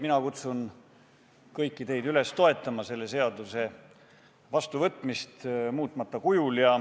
Mina kutsun kõiki teid üles toetama selle seaduse vastuvõtmist muutmata kujul.